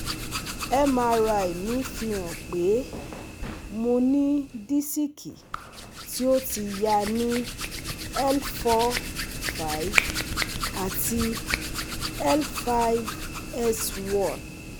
MRI mi fi han pe mo ni disiki ti o ti ya ni L four / five ati L five /S one